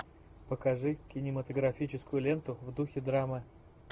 покажи кинематографическую ленту в духе драмы